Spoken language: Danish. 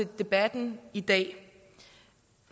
og debatten i dag